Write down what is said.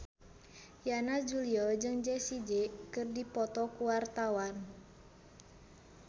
Yana Julio jeung Jessie J keur dipoto ku wartawan